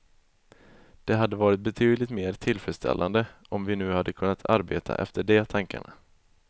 Det hade varit betydligt mer tillfredsställande om vi nu hade kunnat arbeta efter de tankarna.